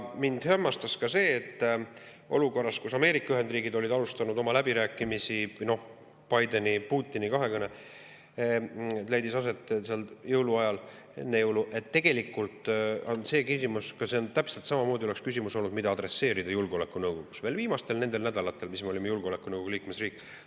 Mind hämmastas ka see, et olukorras, kus Ameerika Ühendriigid olid alustanud oma läbirääkimisi – noh, Bideni ja Putini kahekõne, mis leidis aset jõuluajal või enne jõule –, oli see täpselt samamoodi küsimus, mida saanuks adresseerida julgeolekunõukogus veel nendel viimastel nädalatel, kui me olime julgeolekunõukogu liikmesriik.